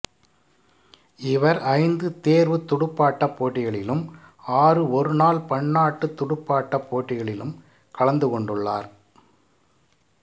இவர் ஐந்து தேர்வுத் துடுப்பாட்டப் போட்டிகளிலும் ஆறு ஒருநாள் பன்னாட்டுத் துடுப்பாட்டப் போட்டிகளிலும் கலந்து கொண்டுள்ளார்